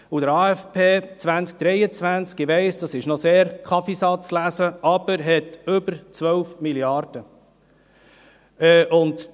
Im AFP 2023 – ich weiss, dies ist noch Kaffeesatzlesen – haben wir über 12 Mrd. Franken.